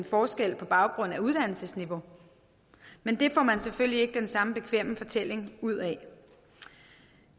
forskelle på baggrund af uddannelsesniveau men det får man selvfølgelig ikke den samme bekvemme fortælling ud af